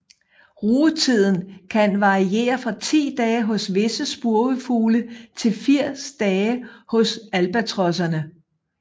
Rugetiden kan variere fra ti dage hos visse spurvefugle til 80 dage hos albatrosserne